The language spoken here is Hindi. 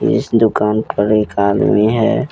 इस दुकान पर एक आदमी है।